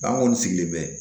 an kɔni sigilen bɛ